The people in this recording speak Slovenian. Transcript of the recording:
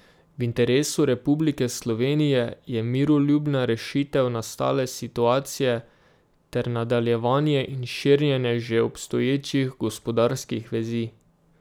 V interesu Republike Slovenije je miroljubna rešitev nastale situacije ter nadaljevanje in širjenje že obstoječih gospodarskih vezi.